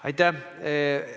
Aitäh!